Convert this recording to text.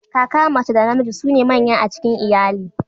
Kaka mace da namiji su ne manya a cikin iyali.